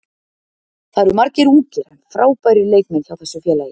Það eru margir ungir en frábærir leikmenn hjá þessu félagi.